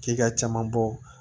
K'i ka caman bɔ